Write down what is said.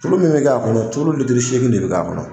Tulu min bɛ k'a kɔnɔ, tulu litiri seegin de bɛ k'a kɔnɔ.